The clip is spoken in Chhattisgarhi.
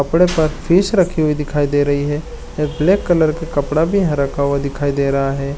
कपड़े पर फिश रखी हुई दिखाई दे रही है अ ब्लैक कलर के कपड़ा भी यहाँ रखा हुआ दिखाई दे रहा है।